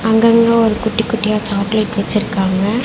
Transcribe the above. அங்கங்க ஒரு குட்டி குட்டியா சாக்லேட் வெச்சுருக்காங்க.